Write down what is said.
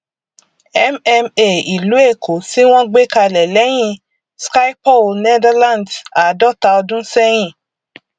mma ìlú èkó tí wọn gbé kalẹ lẹyìn schipol netherlands àádọta ọdún ṣẹyìn